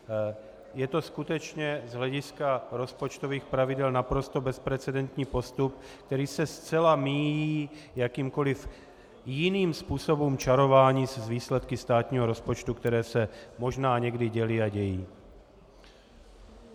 Je to skutečně z hlediska rozpočtových pravidel naprosto bezprecedentní postup, který se zcela míjí jakýmkoli jiným způsobem čarování s výsledky státního rozpočtu, které se možná někdy děly a dějí.